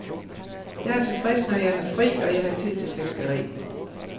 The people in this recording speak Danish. Jeg er tilfreds, når jeg har fri og jeg har tid til fiskeri.